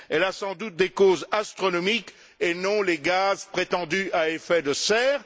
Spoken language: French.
Elle a sans doute des causes astronomiques et non les gaz prétendus à effet de serre.